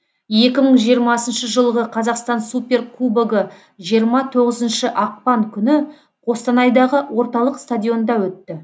екі мың жиырмасыншы жылғы қазақстан суперкубогы жиырма тоғызыншы ақпан күні қостанайдағы орталық стадионда өтті